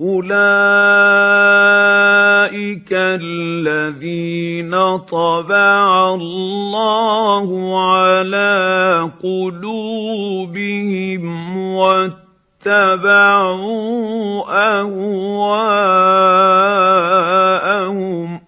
أُولَٰئِكَ الَّذِينَ طَبَعَ اللَّهُ عَلَىٰ قُلُوبِهِمْ وَاتَّبَعُوا أَهْوَاءَهُمْ